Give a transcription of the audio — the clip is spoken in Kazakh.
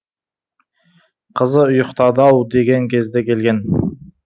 қызы ұйықтады ау деген кезде келген